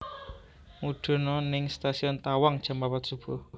Mudhun o ning Stasiun Tawang jam papat subuh